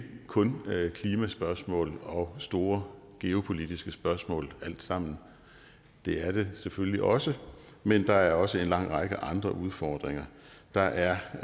kun klimaspørgsmålet og store geopolitiske spørgsmål alt sammen det er det selvfølgelig også men der er også en lang række andre udfordringer der er